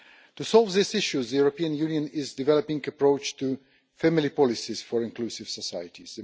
To resolve these issues, the European Union is developing an approach to family policies for inclusive societies.